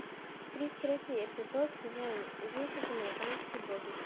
тридцать третий эпизод сезон десять американские боги